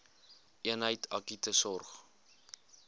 eenheid akute sorg